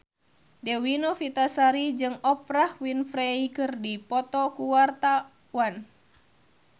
Dewi Novitasari jeung Oprah Winfrey keur dipoto ku wartawan